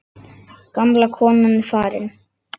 Gamla konan er farin.